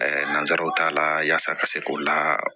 nanzaraw ta la yaasa ka se k'o la